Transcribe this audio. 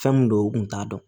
Fɛn min don u kun t'a dɔn